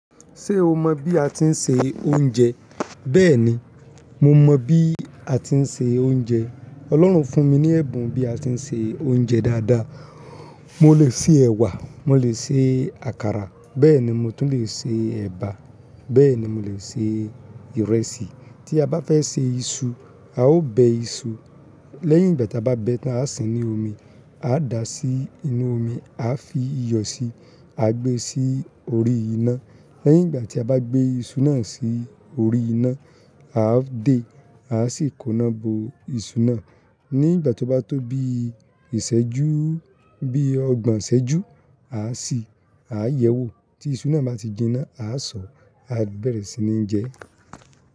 Ṣé o mọ bí a ti ń se oúnjẹ? Bẹ́ẹ̀ni, mo mọ bí a ti ń se oúnjẹ. Ọlọ́run fún mi ní ẹ̀bùn bí a ti ń se oúnjẹ dáadáa. Mo lè se ẹ̀wà, mo lè se àkàrà, bẹ́ẹ̀ ni mo tún lè se ẹba, bẹ́ẹ̀ ni mo lè se ìrẹsì. Tí a bá fẹ́ se iṣu, a ó bẹ iṣu. Lẹ́yìn ìgbà tí a bá bẹ ẹ́ tán, a á sín ní omi, a dá sí inú omi, a fi iyọ̀ si, a gbé sí orí iná. Lẹ́yìn ìgbà tí a bá gbé iṣu náà sí orí iná, a á dè é, a sì kó ná bo iṣu náà. Ní ìgbà tí ó bá tó bí ìṣẹ́jú, bí ọgbọ̀n ìṣẹ́jú, a sì á yẹ̀wò. Tí iṣu náà bá ti jinná, a á sọ, a bẹ̀rẹ̀ sí ní ń jẹ ẹ́.